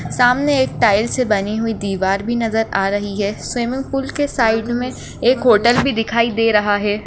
सामने एक टाइल्स से बनी हुई दीवार भी नजर आ रही है स्विमिंग पूल के साइड मे एक होटल भी दिखाई दे रहा है।